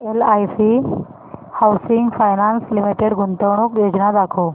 LIC housing finance limited गुंतवणूक योजना दाखव